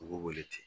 U b'u wele ten